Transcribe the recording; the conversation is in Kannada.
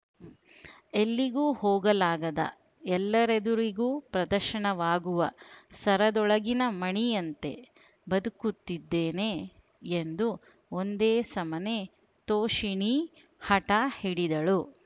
ಎಲ್ಲಿಗೂ ಹೋಗಲಾಗದ ಎಲ್ಲರೆದುರಿಗೂ ಪ್ರದರ್ಶನವಾಗುವ ಸರದೊಳಗಿನ ಮಣಿಯಂತೆ ಬದುಕುತ್ತಿದ್ದೇನೆ ಎಂದು ಒಂದೇ ಸಮನೆ ತೋಷಿಣೀ ಹಠ ಹಿಡಿದಳು